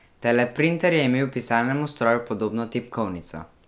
Teleprinter je imel pisalnemu stroju podobno tipkovnico.